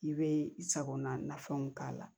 I bɛ i sagona nafɛnw k'a la